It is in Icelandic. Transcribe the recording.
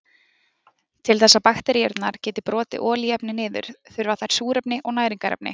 Til þess að bakteríurnar geti brotið olíuefni niður þurfa þær súrefni og næringarefni.